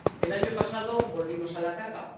El año pasado volvimos a la carga.